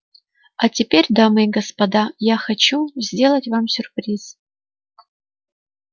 а теперь дамы и господа я хочу сделать вам сюрприз